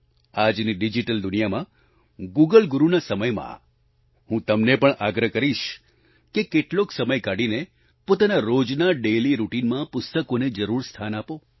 આજની ડિજીટલ દુનિયામાં ગૂગલ ગુરુના સમયમાં હું તમને પણ આગ્રહ કરીશ કે કેટલોક સમય કાઢીને પોતાના રોજના ડેઇલી રાઉટીને માં પુસ્તકોને જરૂર સ્થાન આપો